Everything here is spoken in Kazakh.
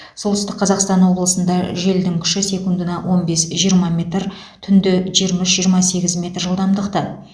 солтүстік қазақстан облысында желдің күші секундына он бес жиырма метр түнде жиырма үш жиырма сегіз метр жылдамдықта